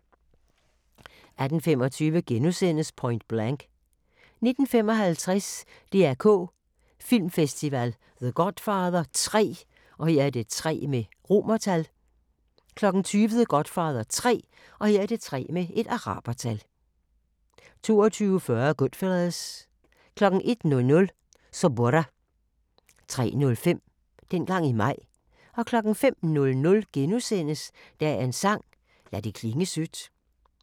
18:25: Point Blank * 19:55: DR K Filmfestival – The Godfather III 20:00: The Godfather 3 22:40: Goodfellas 01:00: Suburra 03:05: Dengang i maj 05:00: Dagens sang: Lad det klinge sødt *